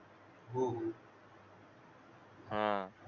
हा